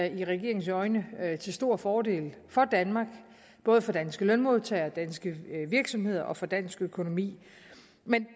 i regeringens øjne til stor fordel for danmark både for danske lønmodtagere for danske virksomheder og for dansk økonomi